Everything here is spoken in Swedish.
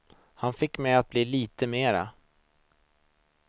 Han fick mig att bli lite mer.